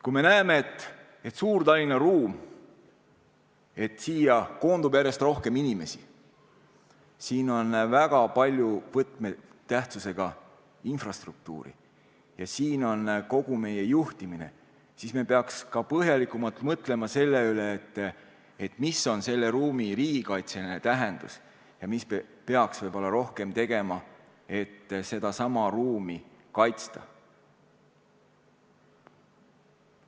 Kui me näeme, et siia Suur-Tallinna ruumi koondub järjest rohkem inimesi, siin on väga palju võtmetähtsusega infrastruktuuri ja siin on kogu meie juhtimine, siis me peaks põhjalikumalt mõtlema selle üle, mis on selle ruumi riigikaitseline tähendus ja mida me peaks võib-olla rohkem tegema, et seda ruumi kaitsta.